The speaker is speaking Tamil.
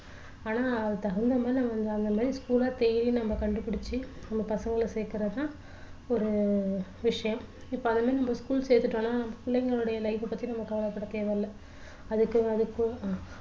ஆனா அதுக்கு தகுந்த மாதிரி நாம அந்த மாதிரி school அ தேடி நம்ம கண்டுபிடிச்சி நம்ம பசங்கள சேர்க்குறது தான் ஒரு விஷயம் இப்போ அந்தமாதிரி நம்ம school சேர்த்துட்டோம்னா பிள்ளைங்களுடைய life அ பத்தி நம்ம கவலைப்பட தேவையில்ல அதுக்கு